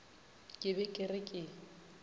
ke be ke re ke